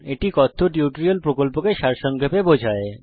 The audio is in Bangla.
এটি কথ্য টিউটোরিয়াল প্রকল্পকে সারসংক্ষেপে বোঝায়